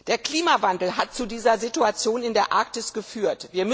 Der Klimawandel hat zu dieser Situation in der Arktis geführt.